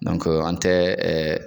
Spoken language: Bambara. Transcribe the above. an tɛ